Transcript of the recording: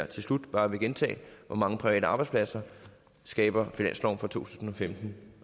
til slut bare vil gentage hvor mange private arbejdspladser skaber finansloven for to tusind og femten